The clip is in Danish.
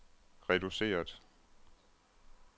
reduceret